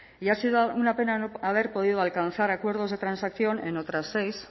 y ha sido una pena no haber podido alcanzar acuerdos de transacción en otras seis